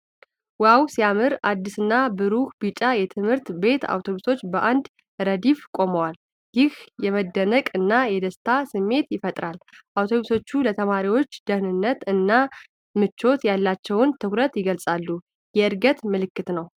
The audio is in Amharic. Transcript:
"ዋው! ሲያምር!" አዲስና ብሩህ ቢጫ የትምህርት ቤት አውቶቡሶች በአንድ ረድፍ ቆመዋል። ይህ የመደነቅ እና የደስታ ስሜት ይፈጥራል። አውቶቡሶቹ ለተማሪዎች ደህንነት እና ምቾት ያላቸውን ትኩረት ይገልጥጻሉ። የዕድገት ምልክት ነው።